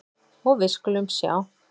Og við skulum sjá.